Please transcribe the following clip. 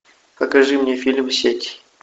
покажи мне фильм сеть